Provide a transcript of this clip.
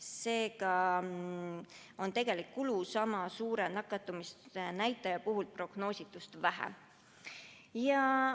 Seega on tegelik kulu sama suure nakatumisnäitaja puhul prognoositust väiksem.